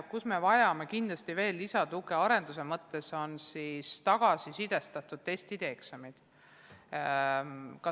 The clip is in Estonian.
Kus me vajame kindlasti veel lisatuge arenduse mõttes, on tagasisidestatud testid ja eksamid.